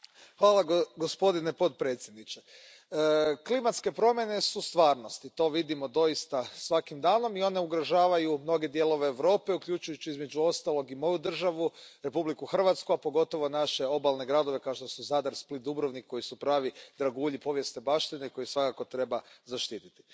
Poštovani gospodine podpredsjedniče, klimatske promjene su stvarnost i to vidimo doista svaki dan i one ugrožavaju mnoge dijelove Europe, uključujući, među ostalim, i moju državu Republiku Hrvatsku, a pogotovo naše obalne gradove kao što su Zadar, Split, Dubrovnik, koji su pravi dragulji povijesne baštine koje svakako treba zaštititi.